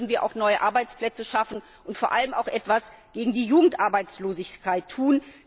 Somit würden wir auch neue Arbeitsplätze schaffen und vor allem auch etwas gegen die Jugendarbeitslosigkeit tun.